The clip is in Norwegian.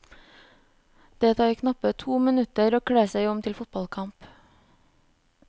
Det tar knappe to minutter å kle seg om til fotballkamp.